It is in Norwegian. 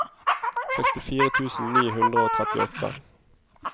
sekstifire tusen ni hundre og trettiåtte